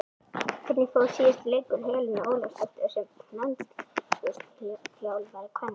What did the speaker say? Hvernig fór síðasti leikur Helenu Ólafsdóttur sem landsliðsþjálfari kvenna?